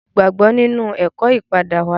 Mo gbàgbọ́ nínú ẹ̀kọ́ ìpadáwáyé